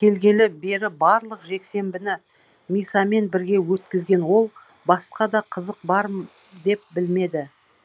келгелі бері барлық жексенбіні мисамен бірге өткізген ол басқа да қызық деп білмеді